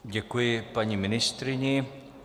Děkuji paní ministryni.